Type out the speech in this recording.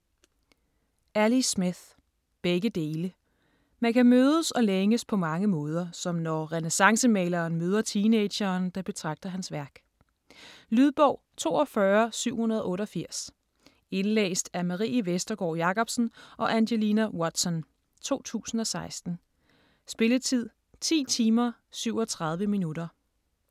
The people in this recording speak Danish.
Smith, Ali: Begge dele Man kan mødes og længes på mange måder, som når renæssancemaleren møder teenageren, der betragter hans værk. Lydbog 42788 Indlæst af Marie Vestergård Jakobsen og Angelina Watson, 2016. Spilletid: 10 timer, 37 minutter.